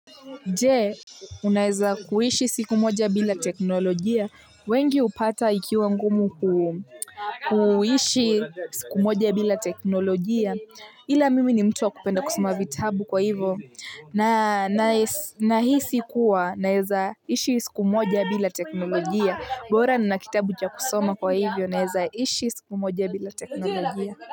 Jee, unaeza kuishi siku moja bila teknolojia, wengi hupata ikiwa ngumu kuishi siku moja bila teknolojia, ila mimi ni mtu wa kupenda kusoma vitabu kwa hivyo, na hisi kuwa, naeza ishi siku moja bila teknolojia, bora nina kitabu cha kusoma kwa hivyo, naeza ishi siku moja bila teknolojia.